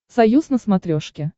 союз на смотрешке